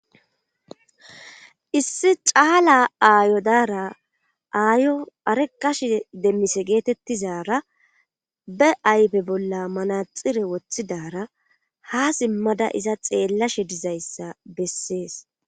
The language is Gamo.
Issi caala aayo daara aayo arekash demmise geetettizara be ayfe bolla manaxire woththidara ha simmada iza xeellashe dizayssa bessees.